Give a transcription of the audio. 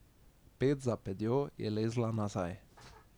Ped za pedjo je lezla nazaj.